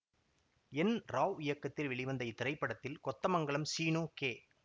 என் ராவ் இயக்கத்தில் வெளிவந்த இத்திரைப்படத்தில் கொத்தமங்கலம் சீனு கே